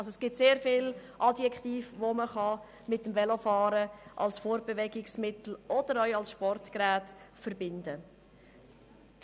Es gibt also sehr viele Adjektive, die man mit dem Velo als Fortbewegungsmittel oder auch als Sportgerät verbinden kann.